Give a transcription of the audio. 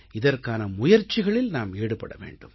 இதற்கான முயற்சிகளில் நாம் ஈடுபட வேண்டும்